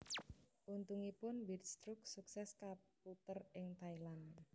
Untungipun Windstruck sukses kaputer ing Thailand